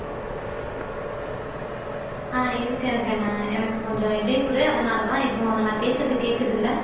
அஹ் இருக்கேன் இருக்கேன்கண்ணா எனக்கு கொஞ்சம் இடையூறு அதனாலதான் இப்போ நான் பேசுறது கேட்குதுல்ல